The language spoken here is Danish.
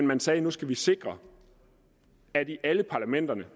man sagde nu skal vi sikre at i alle parlamenterne